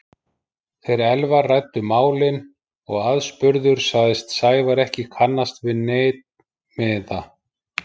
Þeir Elvar ræddu málin og aðspurður sagðist Sævar ekki kannast við neinn miða.